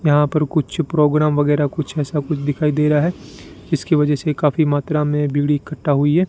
यहां पर कुछ प्रोग्राम वगैरा कुछ ऐसा कुछ दिखाई दे रहा है इसकी वजह से काफी मात्रा में भीड़ इकट्ठा हुई है।